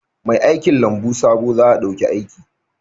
Mai aikin lambu sabo za a dauki aiki